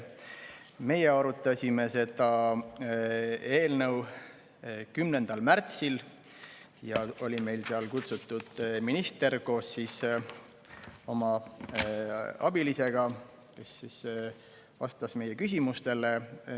Me arutasime seda eelnõu 10. märtsil ja oli kutsutud minister koos oma abilisega, kes vastas meie küsimustele.